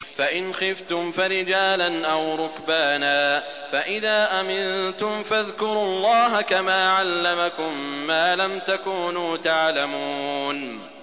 فَإِنْ خِفْتُمْ فَرِجَالًا أَوْ رُكْبَانًا ۖ فَإِذَا أَمِنتُمْ فَاذْكُرُوا اللَّهَ كَمَا عَلَّمَكُم مَّا لَمْ تَكُونُوا تَعْلَمُونَ